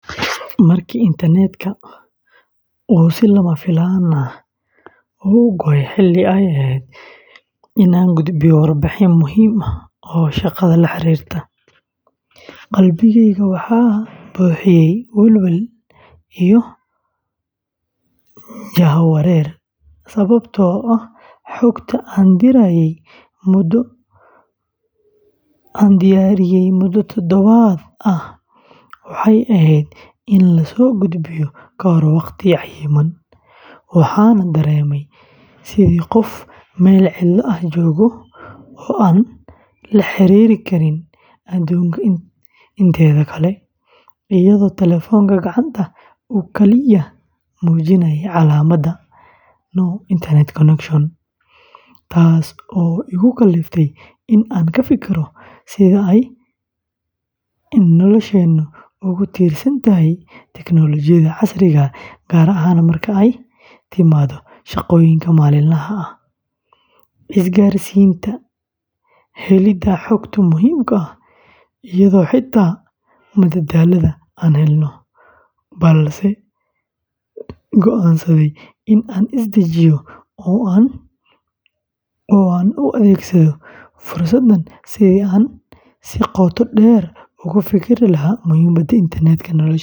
Markii internet-ka uu si lama filaan ah u go'ay xilli ay ahayd in aan gudbiyo warbixin muhiim ah oo shaqada la xiriirta, qalbigeyga waxaa buuxiyey welwel iyo jahawareer, sababtoo ah xogta aan diyaariyey muddo toddobaadyo ah waxay ahayd in la soo gudbiyo kahor waqti cayiman, waxaana dareemay sidii qof meel cidlo ah jooga oo aan la xiriiri karin adduunka inteeda kale, iyadoo taleefanka gacanta uu kaliya muujinayey calaamadda “No Internet Connection” taas oo igu kaliftay in aan ka fikiro sida ay nolosheennu ugu tiirsan tahay tiknoolajiyada casriga ah, gaar ahaan marka ay timaado shaqooyinka maalinlaha ah, isgaarsiinta, helidda xogta muhiimka ah, iyo xitaa madadaalada aan helno; balse go'aansaday in aan is dejiyo oo aan u adeegsado fursaddan sidii aan si qoto dheer ugu fikiri lahaa muhiimada internet-ka nolosheenna.